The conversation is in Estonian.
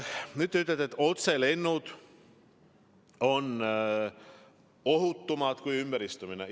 Nüüd, te ütlete, et otselennud on ohutumad kui ümberistumisega lennud.